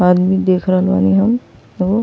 आदमी देख रहल बानी हम। लो --